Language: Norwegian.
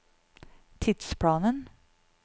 tidsplanen